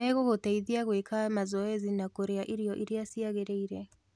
Megũgũteithia gwĩka mazoezi na Kũrĩa irio iria ciagĩrĩire.